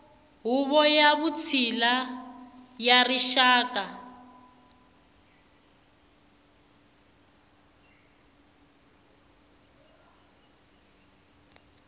huvo ya vutshila ya rixaka